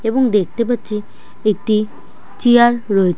এবং দেখতে পাচ্ছি একটি চেয়ার রো-- |